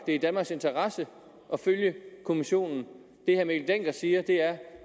er i danmarks interesse at følge kommissionen det herre mikkel dencker siger er